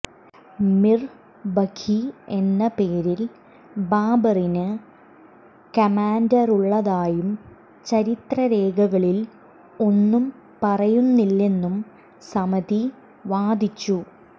മിർ ബഖി എന്ന പേരിൽ ബാബറിന് കമാന്ഡറുള്ളതായും ചരിത്രരേഖകളിൽ ഒന്നും പറയുന്നില്ലെന്നും സമിതി വാദിച്ചു